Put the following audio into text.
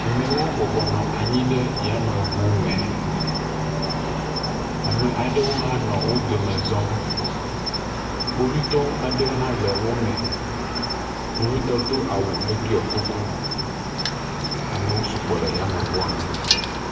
Ame aɖewo bɔbɔ nɔ yameŋu me. Ame aɖewo hã nɔ wo dome zɔm. Kpovitɔwo aɖewo hã le wo me. Kpovitɔ do awu heɖiɔ kuku. Amewo sugbɔ le yameŋua me.